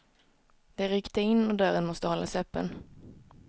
Det rykte in och dörren måste hållas öppen.